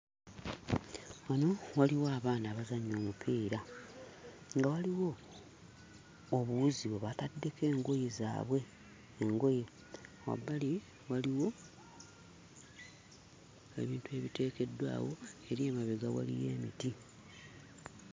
Wano waliwo abaana abazannya omupiira nga waliwo obuwuzi bwe bataddeko engoye zaabwe engoye wabbali waliwo ebintu ebiteekeddwawo eri emabega waliyo emiti.